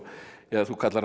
þú kallar hann